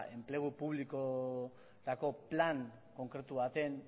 enplegu publikorako plan konkretu baten